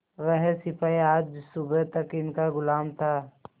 वह सिपाही आज सुबह तक इनका गुलाम था